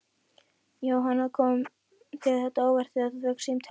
Jóhanna: Kom þér þetta á óvart þegar þú fékkst símtalið?